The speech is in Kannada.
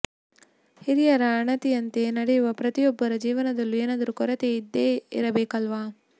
ಹಿರಿಯರ ಅಣತಿಯಂತೆ ನಡೆಯುವ ಪ್ರತಿಯೊಬ್ಬರ ಜೀವನದಲ್ಲೂ ಏನಾದರೂ ಕೊರತೆ ಇದ್ದೇ ಇರಬೇಕಲ್ವ